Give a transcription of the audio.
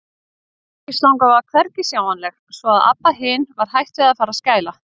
Kyrkislangan var hvergi sjáanleg, svo að Abba hin var hætt við að fara að skæla.